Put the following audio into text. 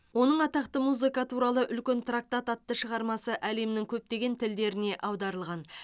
оның атақты музыка туралы үлкен трактат атты шығармасы әлемнің көптеген тілдеріне аударылған